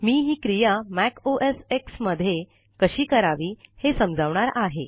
मी ही क्रिया Mac O S X मधे कशी करावी हे समजावणार आहे